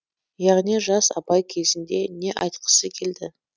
яғни жас абай кезінде не айтқысы келді